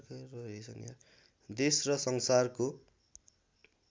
देश र संसारको